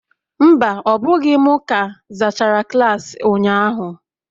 Mba, ọ bụghị m ka zachara klaasị ụnyahụ